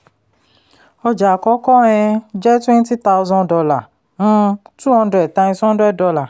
ọjà àkọ́kọ́ um jẹ́ twenty thousand dollar um two hundred times hundred dollar